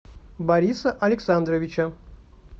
бориса александровича